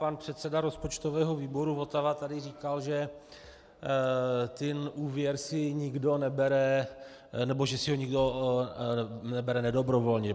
Pan předseda rozpočtového výboru Votava tady říkal, že ten úvěr si nikdo nebere nebo že si ho nikdo nebere nedobrovolně.